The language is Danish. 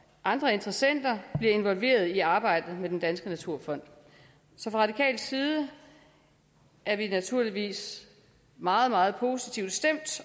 andre interessenter bliver involveret i arbejdet med den danske naturfond så fra radikal side er vi naturligvis meget meget positivt stemt